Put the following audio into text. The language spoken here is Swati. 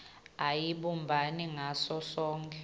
ayibumbani ngaso sonkhe